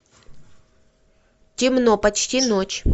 темно почти ночь